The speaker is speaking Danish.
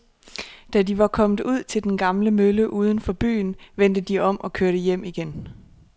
Da de var kommet ud til den gamle mølle uden for byen, vendte de om og kørte hjem igen.